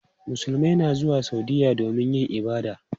Musulmai na zuwa Saudiyya domin yin ibada.